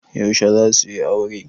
Yaushe za suyi aure?